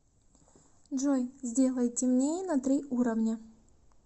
джой сделай темнее на три уровня